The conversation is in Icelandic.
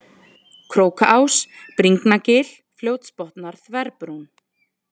Krókaás, Bringnagil, Fljótsbotnar, Þverbrún